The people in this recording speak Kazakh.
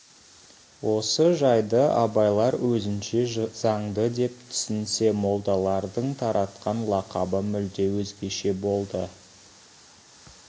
осы жайды абайлар өзінше заңды деп түсінсе молдалардың таратқан лақабы мүлде өзгеше болды